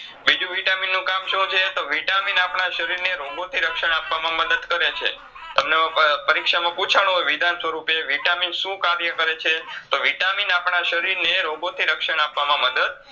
બીજું Vitamin નું કામ શુંછે તો Vitamin આપડા શરીરને રોગોથી રક્ષણ આપવામાં મદત કરે છે. તમને અ પ પરીક્ષામાં પૂછવામાં પૂછાણું હોય વિધાનસ્વરૂપે Vitamin શું કર્યા કરેછે તો Vitamin આપડા શરીરને રોગોથી રક્ષણ આપવામાં મદત